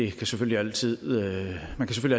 kan selvfølgelig altid